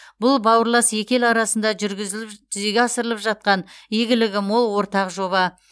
бұл бауырлас екі ел арасында жүргізіліп жүзеге асырылып жатқан игілігі мол ортақ жоба